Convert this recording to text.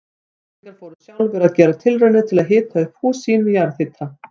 Íslendingar fóru sjálfir að gera tilraunir til að hita upp hús sín með jarðhita.